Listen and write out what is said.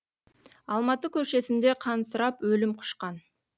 алматы көшесінде қансырап өлім құшқан